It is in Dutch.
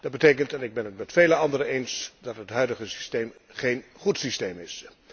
Dat betekent, en ik ben het met vele anderen eens, dat het huidige systeem geen goed systeem is.